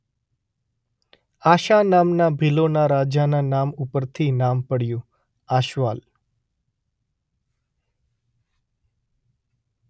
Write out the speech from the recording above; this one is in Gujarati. આશા નામના ભીલોના રાજાના નામ ઉપરથી નામ પડ્યુ આશવાલ